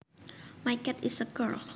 My cat is a girl